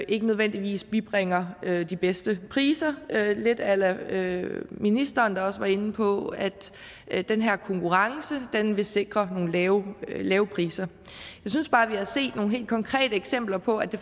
ikke nødvendigvis bibringer de bedste priser lidt a la ministeren der også var inde på at at den her konkurrence vil vil sikre nogle lave lave priser jeg synes bare vi har set nogle helt konkrete eksempler på at det